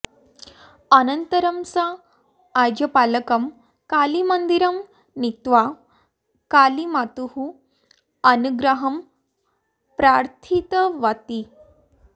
अनन्तरं सा आजपालकं कालीमन्दिरं नीत्वा कालीमातुः अनुग्रहं प्रार्थितवती